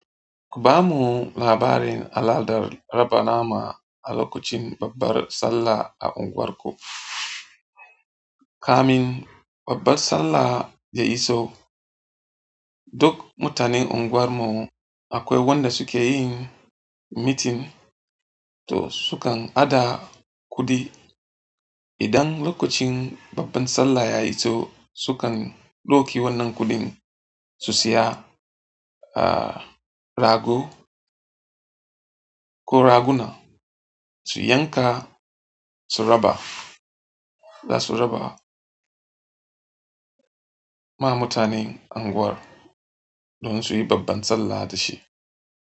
Ku bamu labarin al'adar raba nama a lokacin babbar sallah a unguwarku. Kamun babbar sallah ya iso, duk mutanen unguwarmu akwai wanda suke yin meeting to sukan haɗa kuɗi. Idan lokacin babbar sallah ya iso sukan ɗauki wannan kuɗin su siya, ah rago ko raguna su yanka su raba, za su raba ma mutanen unguwar don su yi babbar sallah da shi.